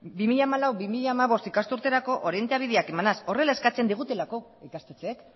bi mila hamalau bi mila hamabost ikasturterako orientabideak emanaz horrela eskatzen digutelako ikastetxeek